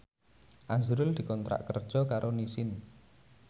azrul dikontrak kerja karo Nissin